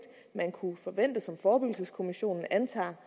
man kunne forvente og som forebyggelseskommissionen antager